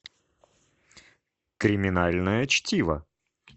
криминальное чтиво